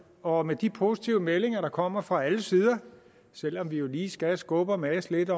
og med de positive meldinger der kommer fra alle sider selv om vi jo lige skal skubbe og mase lidt